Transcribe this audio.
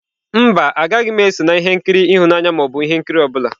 Mba, agaghị m eso na ihe nkiri ịhụnanya ma ọ bụ ihe nkiri ọ bụla.